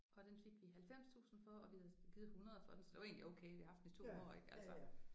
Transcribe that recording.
Og den fik vi 90000 for og vi havde givet 100 for den så det var egentlig okay vi har haft den i 2 år ik altså